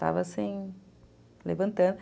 Estava assim, levantando.